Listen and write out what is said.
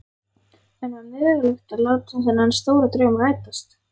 En var mögulegt að láta þennan stóra draum rætast?